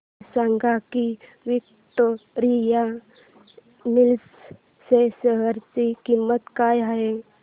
हे सांगा की विक्टोरिया मिल्स च्या शेअर ची किंमत काय आहे